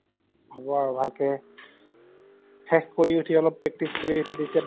হব আৰু ভাল কে শেষ কৰি ওঠি অলপ practice কৰি ওঠি তেতিয়া